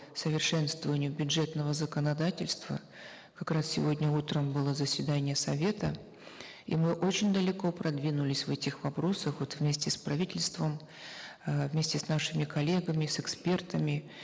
совершенствованию бюджетного законодательства как раз сегодня утром было заседание совета и мы очень далеко продвинулись в этих вопросах вот вместе с правительством э вместе с нашими коллегами с экспертами